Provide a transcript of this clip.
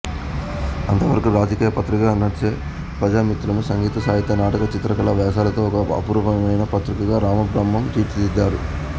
అంతవరకు రాజకీయ పత్రికగా నడిచే ప్రజామిత్రను సంగీత సాహిత్య నాటక చిత్రకళా వ్యాసాలతో ఒక అపురూపమైన పత్రికగా రామబ్రహ్మం తీర్చిదిద్దారు